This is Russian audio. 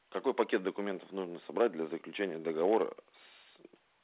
какой пакет документов нужно собрать для заключения договора с ээ